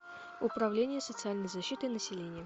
управление социальной защиты населения